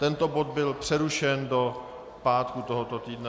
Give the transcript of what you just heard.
Tento bod byl přerušen do pátku tohoto týdne.